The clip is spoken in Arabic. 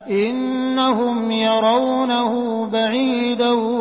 إِنَّهُمْ يَرَوْنَهُ بَعِيدًا